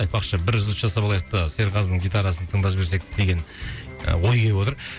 айтпақшы бір үзіліс жасап алайық та серғазының гитарасын тыңдап жіберсек деген ііі ой келіп отыр